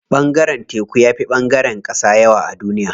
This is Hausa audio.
Ɓangaren teku yafi ɓangaren ƙasa yawa a duniya.